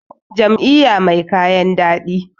jam`iyya mai kayan dadi